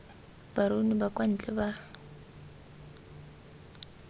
baruni ba kwa ntle ba